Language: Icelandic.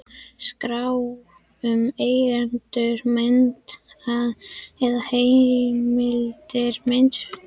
Skrá um eigendur mynda eða heimildir myndefnis.